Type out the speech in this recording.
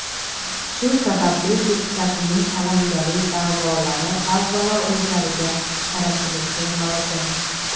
shu sababli deputatning alangali da’volari avvalo o‘zlariga qaratilishi lozim.